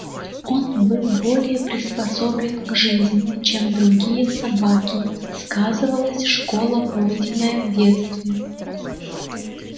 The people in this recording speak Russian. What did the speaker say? он был более приспособлен к жизни чем другие собаки сказывалась школа пройденная в детстве